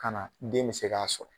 Ka na den mi se k'a sɔrɔ